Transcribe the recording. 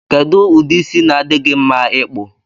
Ikedụ udi isi na adi gi mma ikpụ.